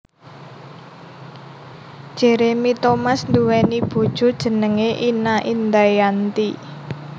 Jeremy Thomas nduwèni bojo jenengé Ina Indayanti